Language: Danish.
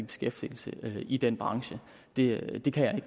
beskæftiget i den branche det det kan jeg